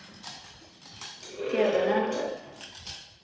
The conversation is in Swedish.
Hedenäset